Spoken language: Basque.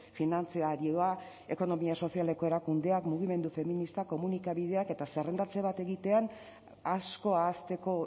finantzarioa ekonomia sozialeko erakundeak mugimendu feministak komunikabideak eta zerrendatze bat egitean asko ahazteko